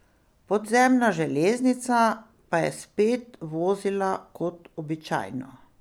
Podzemna železnica pa je spet vozila kot običajno.